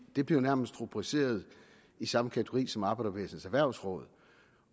det blev nærmest rubriceret i samme kategori som arbejderbevægelsens erhvervsråd